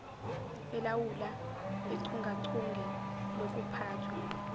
elawula uchungechunge lokuphathwa